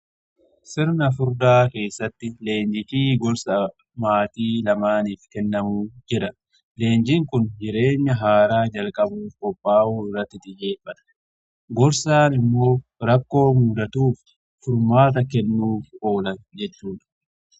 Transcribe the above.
Sirna furdaa keessatti leenji fi gorsa maatii lamaaniif kennamuu jira. Leenjiin kun jireenya haaraa jalqabu kophaa'uu irratti xiyyeeffata. Gorsaan immoo rakkoo muudatuuf furmaata kennuuf oola jechuudha.